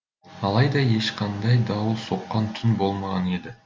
алайда ешқандай дауыл соққан түн болмаған еді